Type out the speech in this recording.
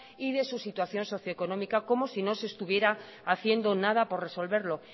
y de su situación socio económica como si no se estuviera haciendo nada por resolverlo